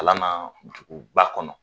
Kalan na dugu ba kɔnɔ